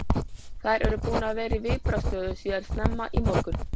Þær eru búnar að vera í viðbragðsstöðu síðan snemma í morgun.